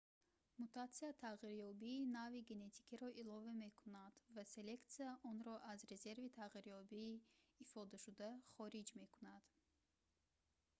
мутатсия тағйирёбии нави генетикиро илова мекунад ва селексия онро аз резерви тағйирёбии ифодашуда хориҷ мекунад